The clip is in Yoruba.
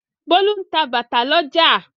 Bólú ń ta bàtà lọ́jà.